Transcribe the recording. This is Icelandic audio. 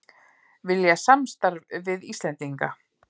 Vilja samstarf við Íslendinga